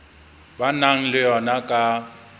ba nang le yona ka